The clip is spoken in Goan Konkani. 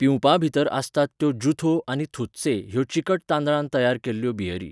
पिवपांभितर आसात त्यो ज़ुथो आनी थुत्से ह्यो चिकट तांदळान तयार केल्ल्यो बियरी.